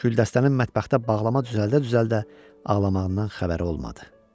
Güldəstənin mətbəxtdə bağlama düzəldə-düzəldə ağlamağından xəbəri olmadı.